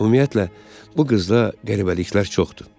Ümumiyyətlə, bu qızda qəribəliklər çoxdur.